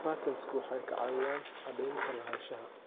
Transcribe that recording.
Patents-ku waxay caawiyaan caddaynta lahaanshaha.